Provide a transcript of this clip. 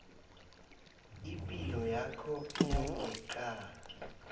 ipilo yakho yangeqadi